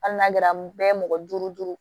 Hali n'a kɛra bɛɛ ye mɔgɔ duuru duuru